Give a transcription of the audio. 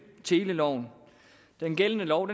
teleloven den gældende lov